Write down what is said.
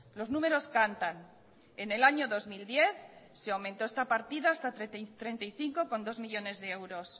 los número cantan en el año dos mil diez se aumentó esta partida hasta treinta y cinco coma dos millónes de euros